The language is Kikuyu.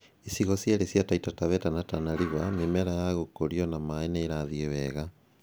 Icigo cierĩ cia Taita Taveta na Tana River mĩmera ya gũkũrio na maĩ nĩ irathiĩ wega